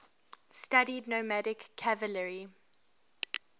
studied nomadic cavalry